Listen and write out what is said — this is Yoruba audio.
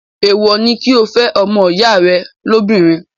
èèwọ̀ ni kí o fẹ́ ọmọ ìyá rẹ lóbìnrin.